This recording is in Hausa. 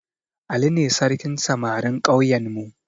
Ali ne sarkin samarin ƙauyenmu